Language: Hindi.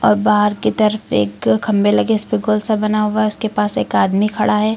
बाहर की तरफ एक खंभे लगे हैं इसपे गोल सा बना हुआ है उसके पास एक आदमी खड़ा है।